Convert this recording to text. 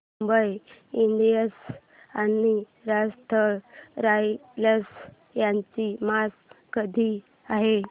Mumbai Indians आणि Rajasthan Royals यांची match कधी आहे